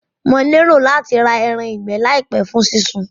Mo lérò láti ra eran ìgbẹ́ làìpé fún sí sun